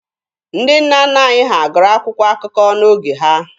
Ndị nna nna anyị ha gụrụ akwụkwọ akụkọ n'oge ha.